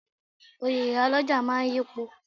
Oyè iyálọ́jà máa yipo.